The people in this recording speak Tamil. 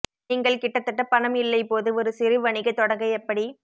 நீங்கள் கிட்டத்தட்ட பணம் இல்லை போது ஒரு சிறு வணிக தொடங்க எப்படி